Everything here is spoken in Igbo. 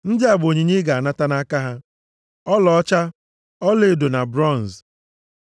“Ndị a bụ Onyinye ị ga-anata nʼaka ha: “ọlaọcha, ọlaedo na bronz.